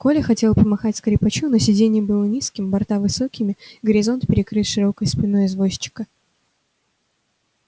коля хотел помахать скрипачу но сиденье было низким борта высокими горизонт перекрыт широкой спиной извозчика